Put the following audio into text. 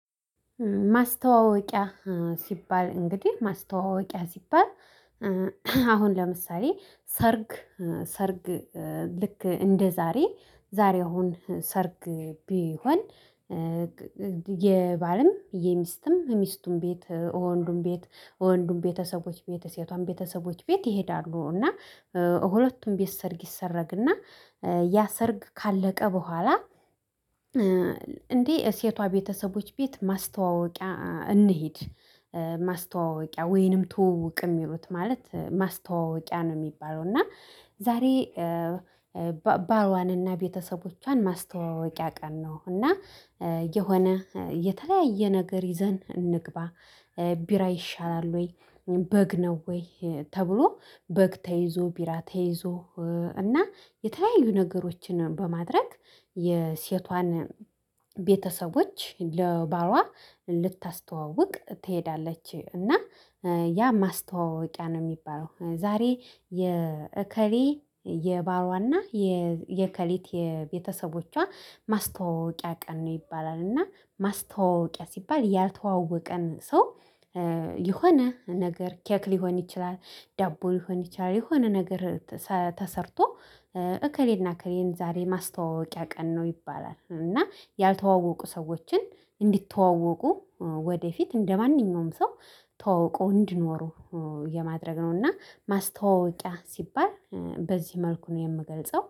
ማስተዋወቂያ ሲባል እንግዲህ ማስተዋወቂያ ሲባል። አሁን ለምሳሌ ሰርግ ሰርግ ልክ እንደዛሬ ዛሬ አሁን ሰርግ ቢሆን። የባልም የሚስትም የሚስቱም ቤት ወንዱም ቤት ወንዱም ቤተሰቦች ሴቷም ቤተሰቦች ቤት ይሄዳሉ እና ሁለቱም ቤት ሰርግ ይሰረግና ያ ሰርግ ካለቀ በኋላ። እንዴ ሴቷ ቤተሰቦች ቤት ማስተዋወቂያ እንሂድ። ማስተዋወቂያ ወይንም ተውውቅ የሚሉት ማለት ማስተዋወቂያ ነው የሚባለው። እና ዛሬ ባሏንና ቤተሰቦቿን ማስተዋወቂያ ቀን ነው። እና የሆነ የተለያየ ነገር ይዘን እንግባ። ቢራ ይሻላል ወይ በግ ነው ወይ ተብሎ በግ ተይዞ ቢራ ተይዞ እና የተለያዩ ነገሮችን በማድረግ የሴቷን ቤተሰቦች ለባሏ። ትሄዳለች እና ያ ማስተዋወቂያ ነው የሚባለው። ዛሬ የእከሌ የባሏና የእከሌት የቤተሰቦቿ ማስተዋወቂያ ቀን ነው ይባላል። እና ማስተዋወቂያ ሲባል ያልተዋወቀን ሰው። የሆነ ነገር ኬክ ሊሆን ይችላል ዳቦ ሊሆን ይችላል የሆነ ነገር። ተሰርቶ እከሌና እከሌን ዛሬ ማስተዋወቂያ ቀን ነው ይባላል። እና ያልተዋወቁ ሰዎችን እንዲተዋወቁ ወደፊት እንደማንኛውም ሰው ተዋውቆ እንዲኖሩ የማድረግ ነው። እና ማስተዋወቂያ ሲባል በዚህ መልኩ ነው የምገልጸው